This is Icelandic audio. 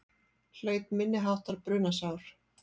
Hlaut minniháttar brunasár